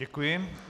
Děkuji.